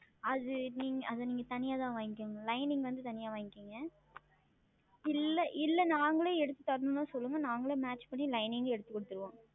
அது நீங்கள் அது நீங்கள் தனியாக தான் வாங்கி Lining வந்து தனியாக வாங்கி கொள்ளுங்கள் இல்லை இல்லை நாங்களும் எடுத்து தரவேண்டுமா சொல்லுங்கள் நாங்களும் Match செய்து Lining எடுத்து கொடுத்து விடுவோம்